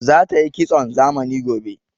Za tayi kitson zamani gobe